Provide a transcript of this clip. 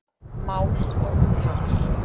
Mál og tal